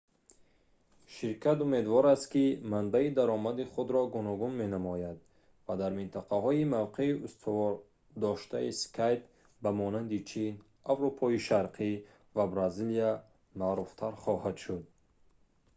ширкат умедвор аст ки манбаи даромади худро гуногун менамояд ва дар минтақаҳои мавқеи устувордоштаи skype ба монанди чин аврупои шарқӣ ва бразилия маъруфтар хоҳад шуд